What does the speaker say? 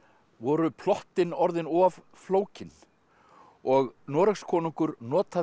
voru plottin orðin of flókin og Noregskonungur notaði